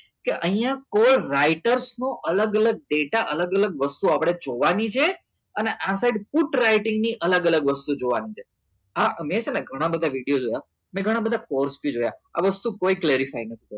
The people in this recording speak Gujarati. કે અહીંયા for rights નો અલગ અલગ ડેટા અલગ અલગ વસ્તુ આપણે જોવાની છે અને આ સાઇડ ફૂટ રાઇટીંગ ની અલગ અલગ વસ્તુ જોવાની છે અને ઘણા બધા વિડીયો જોયા આ વસ્તુ કોઈ clarify નથી કરતું